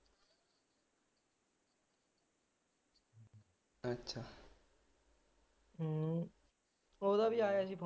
ਹਮ ਉਹਦਾ ਵੀ ਆਇਆ ਸੀ phone